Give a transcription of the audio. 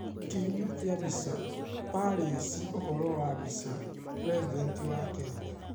Kĩhumo kia mbica, Palace Ũhoro wa mbica, President wa Kenya.